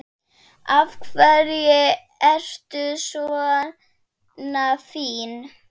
Af hverju ertu svona fín?